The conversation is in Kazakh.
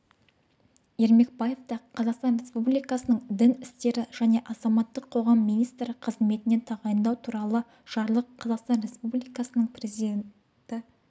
ермекбаевты қазақстан республикасының дін істері және азаматтық қоғам министрі қызметіне тағайындау туралы жарлық қазақстан республикасының президенті